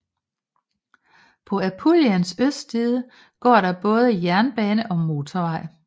På Apuliens østside går der både jernbane og motorvej